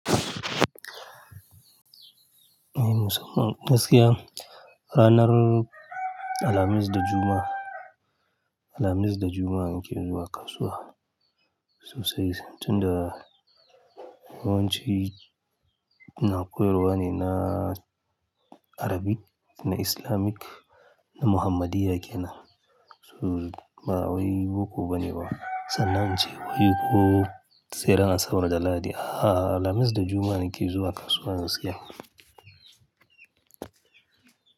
Mu musamman gaskiya, ranar Alhamis da Jumma'a, Alhamis da Juma'a nake zuwa kasuwa, sosai tunda yawanci ina koyarwa ne na Arabic, na Islamic, na Muhammadiya kenan. So ba wai boko bane ba, sannan nace wai ko sai ran asabar da lahadi, A'a Alhamis da Jumma'a nake zuwa kasuwa gaskiya.